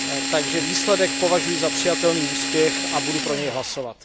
Takže výsledek považuji za přijatelný úspěch a budu pro něj hlasovat.